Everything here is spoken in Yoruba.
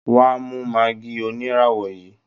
Wá mú maggi oníràwọ̀ yìí